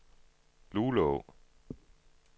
Luleå